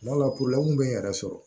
Kuma dɔ la bɛ n yɛrɛ sɔrɔ